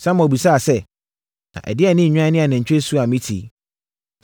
Samuel bisaa sɛ, “Na adɛn ne nnwan ne anantwie su a mete yi?”